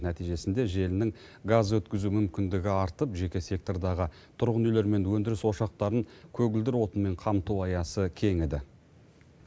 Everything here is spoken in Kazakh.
нәтижесінде желінің газ өткізу мүмкіндігі артып жеке сектордағы тұрғын үйлер мен өндіріс ошақтарын көгілдір отынмен қамту аясы кеңіді